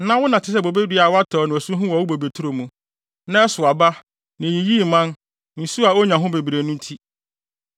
“ ‘Na wo na te sɛ bobedua a wɔatɛw no asu ho wɔ wo bobeturo mu. Na ɛsow aba, na eyiyii mman nsu a onya no bebree no nti.